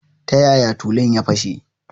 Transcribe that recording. Ta yaya tulun ya fashe?